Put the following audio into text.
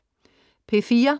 P4: